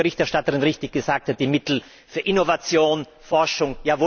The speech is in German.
Wo sind wie die Berichterstatterin richtig gesagt hat die Mittel für Innovation, Forschung?